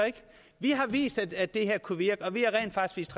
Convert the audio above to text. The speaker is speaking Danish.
vi har vist at det her kunne virke og vi har rent faktisk